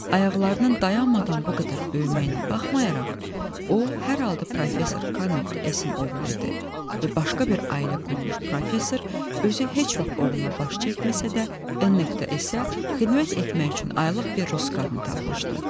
Ayaqlarının dayanmadan bu qədər böyüməyinə baxmayaraq, o, hər halda professor K.S-in oğlu idi və başqa bir ailə qurmuş professor özü heç vaxt oğluna baş çəkməsə də, N.S-ə xidmət etmək üçün aylıq bir Rus qadını tapmışdı.